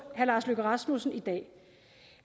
herre lars løkke rasmussen i dag